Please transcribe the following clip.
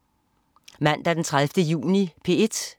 Mandag den 30. juni - P1: